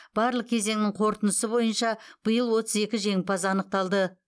барлық кезеңнің қорытындысы бойынша биыл отыз екі жеңімпаз анықталды